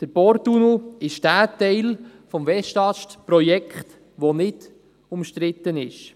Der Porttunnel ist jener Teil des Westast-Projekts, der nicht umstritten ist.